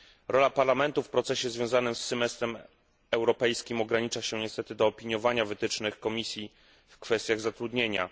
Rola Parlamentu w procesie związanym z semestrem europejskim ogranicza się niestety do opiniowania wytycznych Komisji w kwestiach zatrudnienia.